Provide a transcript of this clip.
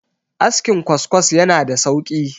askin kwaskwas yana da sauki